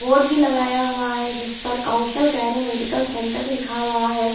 Board भी लगाया हुआ हैजिस पर कौशल गायने मेडिकल सेंटर लिखा हुआ है।